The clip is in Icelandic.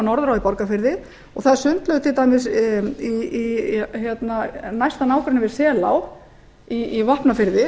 í borgarfirði og það er sundlaug til dæmis í næsta nágrenni við selá á vopnafirði